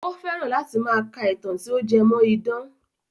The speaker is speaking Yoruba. Ó fẹ́ràn láti máa ka ìtàn tí ó jé mọ́ idán.